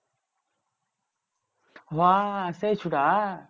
হ্যাঁ সেই ছোড়া?